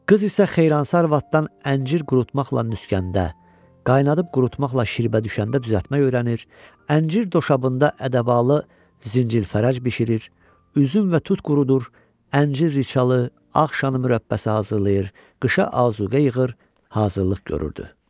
Qız isə Xeyransa arvaddan əncir qurutmaqla nüskəndə, qaynadıb qurutmaqla şərbə düşəndə düzəltmək öyrənir, əncir doşabında ədəbalı, zinci-fərəc bişirir, üzüm və tut qurudur, əncir riçalı, ağ şanı mürəbbəsi hazırlayır, qışa azuqə yığır, hazırlıq görürdü.